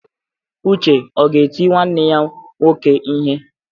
Uche ọ ga-eti nwanne ya nwoke ihe?